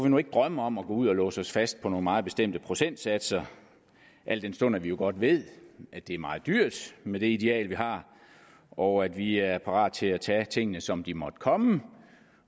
nu ikke drømme om at gå ud og låse os fast på nogle meget bestemte procentsatser al den stund vi jo godt ved at det er meget dyrt med det ideal vi har og at vi er parat til at tage tingene som de måtte komme